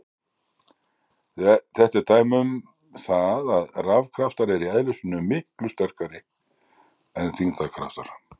Þetta er dæmi um það að rafkraftar eru í eðli sínu miklu sterkari en þyngdarkraftar.